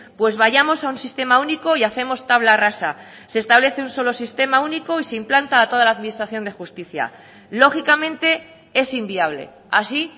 pues vayamos a un sistema único y hacemos tabla rasa se establece un solo sistema único y se implanta a toda la administración de justicia lógicamente es inviable así